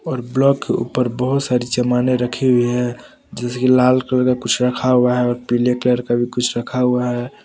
और ब्लॉक के ऊपर बहुत सारी चमाने रखी हुई है जैसे की लाल कलर का कुछ रखा हुआ है और पीले कलर का भी कुछ रखा हुआ है।